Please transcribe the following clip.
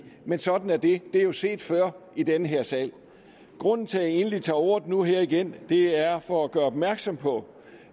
men sådan er det det er jo set før i den her sal grunden til at jeg egentlig tager ordet nu her igen er for at gøre opmærksom på